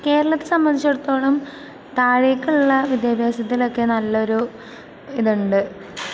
കേരളത്തെ സംബന്ധിച്ചിടത്തോളം താഴേക്കുള്ള വിദ്യാഭാസത്തിലൊക്കെ നല്ലൊരു ഇതുണ്ട്...